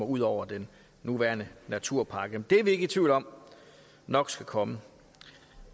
ud over den nuværende naturpakke det er vi ikke i tvivl om nok skal komme